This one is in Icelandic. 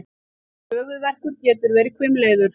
Höfuðverkur getur verið hvimleiður.